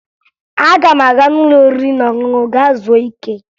Aga m aga n'ụlọ oriri na ọṅụṅụ gaa zuo ike